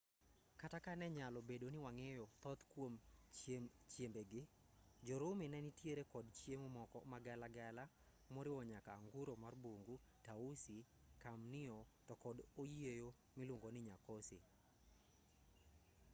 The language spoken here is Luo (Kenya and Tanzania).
kata ka ne nyalo bedo ni wang'eyo thoth kuom chiembe gi jo-rumi ne nitiere kod chiemo moko magala gala moriwo nyaka anguro mar bungu tausi kamnio to kod oyieyo miluongo ni nyakosi